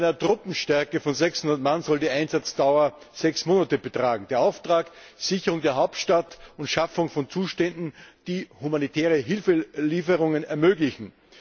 Und bei einer Truppenstärke von 600 Mann soll die Einsatzdauer sechs Monate betragen. Der Auftrag Sicherung der Hauptstadt und Schaffung von Zuständen, die humanitäre Hilfelieferungen ermöglichen.